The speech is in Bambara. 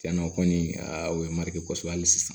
Cɛnna o kɔni o ye mari kosɛbɛ hali sisan